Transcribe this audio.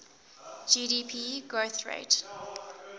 gdp growth rate